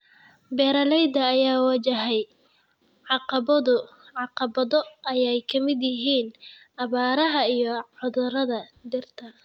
Beeralayda ayaa wajahaya caqabado ay ka mid yihiin abaaraha iyo cudurrada dhirta.